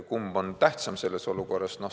Kumb on tähtsam selles olukorras?